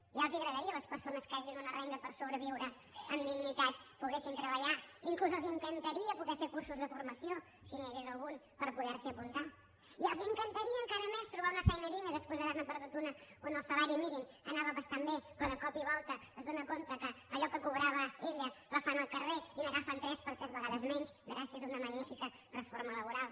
ja els agradaria a les persones que tenen una renda per sobreviure amb dignitat poder treballar inclús els encantaria poder fer cursos de formació si n’hi hagués algun per poder s’hi apuntar i els encantaria encara més trobar una feina digna després d’haver ne perdut una on el salari mínim anava bastant bé però de cop i volta s’adona que allò que cobrava ella la fan al carrer i n’agafen tres per tres vegades menys gràcies a una magnífica reforma laboral